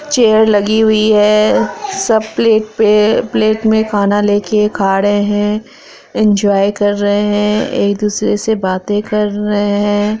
Chair लगी हुई है सब प्लेट पे प्लेट में खाना लेके खा रहे हैं इन्जॉय कर रहे हैं। एक दूसरे से बाते कर रहे हैं।